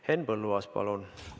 Henn Põlluaas, palun!